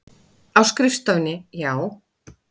Á skrifstofunni, já.